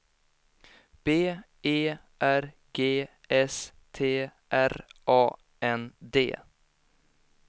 B E R G S T R A N D